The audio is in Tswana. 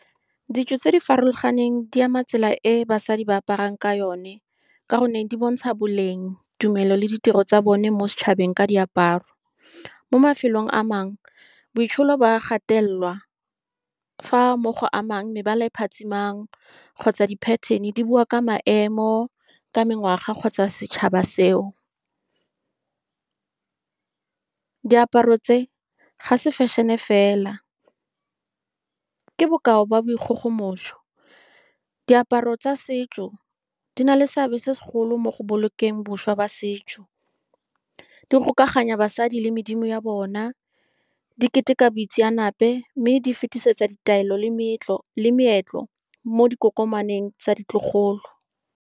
Ditso tse di farologaneng di ama tsela e basadi ba aparang ka yone, ka gonne di bontsha boleng, tumelo le ditiro tsa bone mo setšhabeng ka diaparo. Mo mafelong a mangwe, boitsholo ba gatelelwa, fa mo go amang mebala e phatsimang kgotsa di-pattern-e, di bua ka maemo, ka mengwaga kgotsa setšhaba seo. Diaparo tse ga se fashion-e fela, ke bokao ba boikgogomoso. Diaparo tsa setso di na le seabe se segolo mo go bolokeng bošwa jwa setso, di gokaganya basadi le medlimo ya bona, di keteka boitseanape, mme di fetisetsa ditaelo le le meetlo mo dikokomaneng tsa ditlogolo.